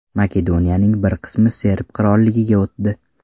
Makedoniyaning bir qismi Serb qirolligiga o‘tdi.